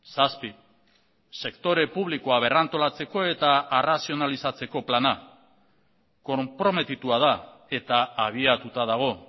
zazpi sektore publikoa berrantolatzeko eta arrazionalizatzeko plana konprometitua da eta abiatuta dago